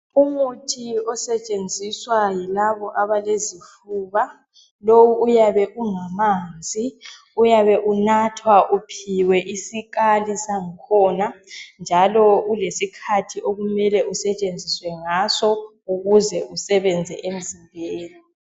Umuthi osetshenziswa yilabo abalezifuba. Lowu uyabe ungamanzi. Uyabe unathwa uphiwe isikhali sangukhona njalo ulesikhathi okumele usetshenziswe ngaso ukuze usebenze emzimbeni.